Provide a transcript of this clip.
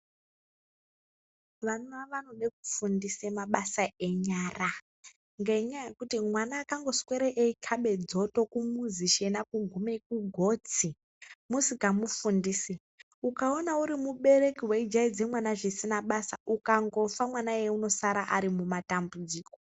Vana wanode kufundise mabasa enyara, ngenyaya yekuti mwana akangoswere eikabe dzoto mumuzi shena kugume kugotsi, musikamufundisi ukaona uri mubereki weijaidze mwana zvisina basa ukangofa mwana iyeye anosara mumatambudziko.